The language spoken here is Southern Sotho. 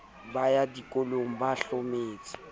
ba ya dikolong ba hlometse